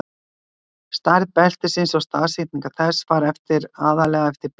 Stærð beltisins og staðsetning þess fara eftir aðallega eftir birtu stjörnunnar.